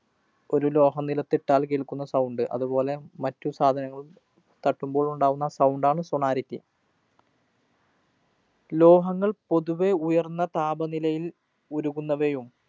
ഒരു ലോഹം നിലത്തിട്ടാല്‍ കേള്‍ക്കുന്ന sound. അതുപോലെ മറ്റു സാധനങ്ങളും തട്ടുമ്പോള്‍ ഉണ്ടാകുന്ന sound ആണ് sonority. ലോഹങ്ങള്‍ പൊതുവേ ഉയര്‍ന്ന താപനിലയില്‍ ഉരുകുന്നവയും